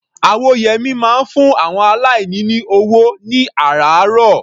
Awóyẹmí máa ń fún àwọn aláìní ní ọwọ́ ní àrààárọ̀.